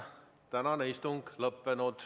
Tänane istung on lõppenud.